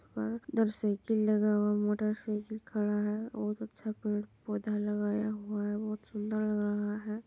उधर साइकिल लगा हुआ है मोटर साइकिल खड़ा है बहुत अच्छा पेड़-पौधा लगाया हुआ है बहुत सुन्दर लग रहा है।